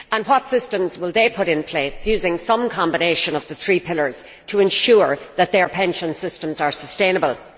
What systems will they put in place using some combination of the three pillars to ensure that their pension systems are sustainable?